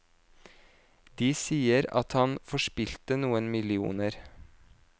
De sier at han forspilte noen millioner.